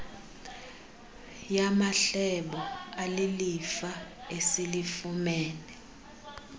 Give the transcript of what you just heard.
yamahlebo alilifa esilifumene